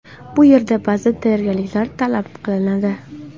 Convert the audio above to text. Bu yerda ba’zi tayyorgarliklar talab qilinadi.